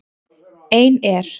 Ein er